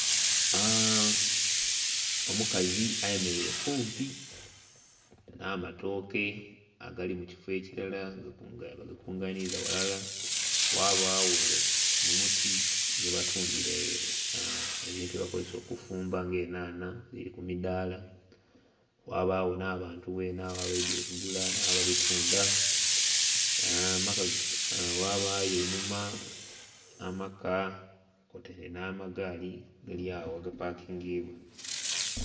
Omukazi ayemereire kumpi n'amatooke agali mu kifo ekilala, nga bagakunganiza ghalala. Ghabagho omuti ghebatundhira ebintu byebakozesa okufumba nga enhanha, dhiri ku midaala. Ghabagho n'abantu ghene agho abaidye okugula n'ababitundha, ghabagho einhuma amaka kwotaire n'amagaali agali agho agapakingibwa.